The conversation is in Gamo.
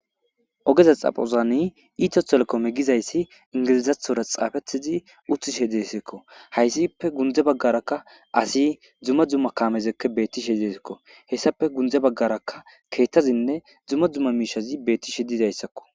Ogeza xaphozan etiotelicomme gizayss engilezethora xafetid utishshe desikko hazippe gunde bagara dumma dumma kamet betishshe des hesapp gunde bagara kehthtazinne dumma dumma mishsh betishshe des